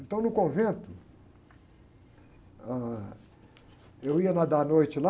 Então, no convento, ah, eu ia nadar à noite lá,